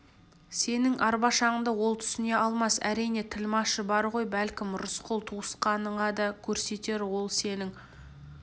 сенің арбашаңды ол түсіне алмас әрине тілмашы бар ғой бәлкім рысқұл туысқаныңа да көрсетер ол сенің